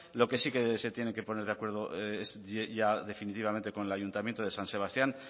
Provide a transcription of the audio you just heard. lo que sí se tiene que poner de acuerdo ya definitivamente con el ayuntamiento de san sebastián